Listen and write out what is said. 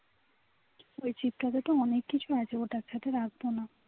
ওই chip টা তে তো অনেক কিছুই আছে ওটার সঙ্গে রাখবো না